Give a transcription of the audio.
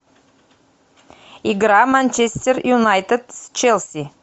игра манчестер юнайтед с челси